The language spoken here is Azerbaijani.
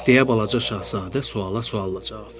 deyə balaca Şahzadə suala sualla cavab verdi.